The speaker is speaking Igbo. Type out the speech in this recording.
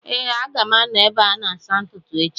Ee, a ga m anọ n’ebe a na-asa ntutu echi